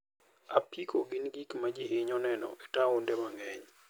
apiko gin gik ma ji hinyo neno e taonde mang'eny.